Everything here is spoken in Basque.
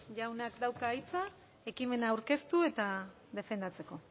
jaunak dauka hitza ekimena aurkeztu eta defendatzeko